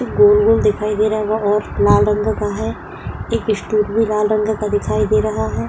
गोल गोल दिखाई दे रहा है और लाल रंग का है। एक स्टूल भी लाल रंग का दिखाई दे रहा है।